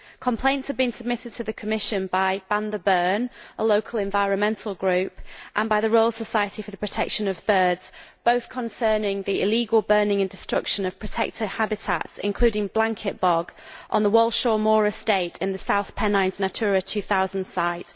Complaints have been submitted to the Commission by Ban the Burn, a local environmental group, and by the Royal Society for the Protection of Birds, both concerning the illegal burning and destruction of protected habitats, including blanket bog on the Walshaw Moor Estate in the South Pennines Natura 2000 site.